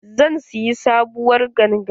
Zan siya sabuwar ganga.